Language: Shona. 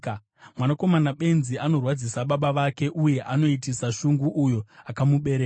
Mwanakomana benzi anorwadzisa baba vake, uye anoitisa shungu uyo akamubereka.